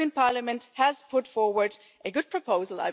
The European Parliament has put forward a good proposal.